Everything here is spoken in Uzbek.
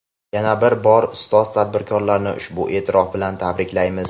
Yana bir bor ustoz tadbirkorlarni ushbu e’tirof bilan tabriklaymiz!.